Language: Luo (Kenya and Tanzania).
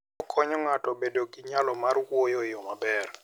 Okonyo ng'ato bedo gi nyalo mar wuoyo e yo maber.